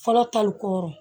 Fɔlɔ tali koron